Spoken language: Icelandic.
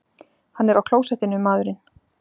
Hann er á klósettinu, maðurinn!